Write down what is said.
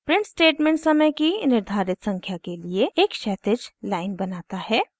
print statement समय की निर्धारित संख्या के लिए एक क्षैतिज लाइन बनाता है